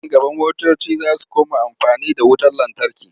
Nan gaba motoci za su koma amfani da wutar lantarki.